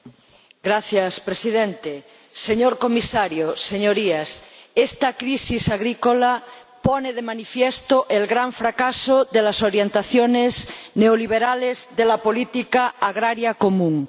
Señor Presidente, señor Comisario, señorías, esta crisis agrícola pone de manifiesto el gran fracaso de las orientaciones neoliberales de la política agrícola común.